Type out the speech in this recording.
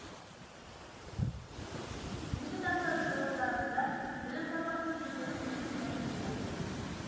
бүгінгі таңда жоо дарында білім сапасын көтеру өзекті мәселе болып тұр